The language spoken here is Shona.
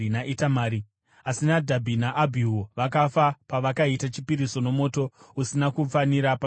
Asi Nadhabhi naAbhihu vakafa pavakaita chipiriso nomoto usina kufanira pamberi paJehovha.)